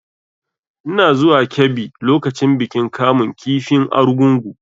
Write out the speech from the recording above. Ina zuwa Kebbi lokacin bikin kamun kifin argungu.